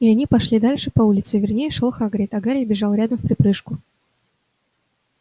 и они пошли дальше по улице вернее шёл хагрид а гарри бежал рядом вприпрыжку